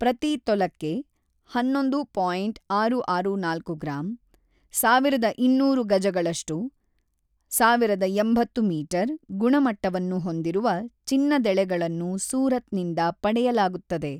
ಪ್ರತಿ ತೊಲಕ್ಕೆ (ಹನ್ನೊಂದು ಪಾಯಿಂಟ ಆರು ಆರು ನಾಲ್ಕು ಗ್ರಾಂ) ಸಾವಿರದ ಇನ್ನೂರು ಗಜಗಳಷ್ಟು (ಸಾವಿರದ ಎಂಬತ್ತು ಮೀಟರ್) ಗುಣಮಟ್ಟವನ್ನು ಹೊಂದಿರುವ ಚಿನ್ನದೆಳೆಗಳನ್ನು ಸೂರತ್‌ನಿಂದ ಪಡೆಯಲಾಗುತ್ತದೆ.